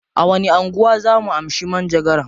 A wani anguwa zaa mu amshi manjagaran?